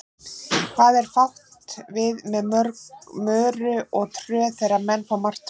Hvað er átt við með möru og tröð þegar menn fá martröð?